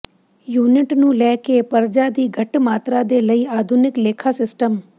unit ਨੂੰ ਲੈ ਕੇ ਪਰਜਾ ਦੀ ਘੱਟ ਮਾਤਰਾ ਦੇ ਲਈ ਆਧੁਨਿਕ ਲੇਖਾ ਸਿਸਟਮ